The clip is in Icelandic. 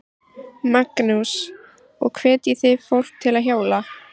Magnús: Og hvetjið þið fólk til að hjóla?